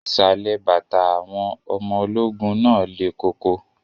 Ìsàlẹ̀ bàtà àwọn ọmọ ológun náà lẹ̀ koko